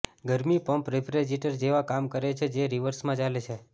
ગરમી pump refrigerator જેવા કામ કરે છે જે રિવર્સમાં ચાલે છે